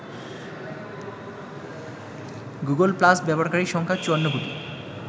Google Plus ব্যবহারকারীর সংখ্যা ৫৪ কোটি।